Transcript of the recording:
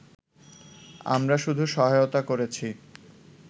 আমরা শুধু সহায়তা করেছি